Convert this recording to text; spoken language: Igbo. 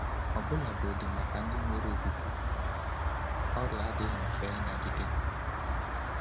Ọbụlagodi maka ndị nwere okwukwe okpukpe, ọrịa adịghị mfe ịnagide. um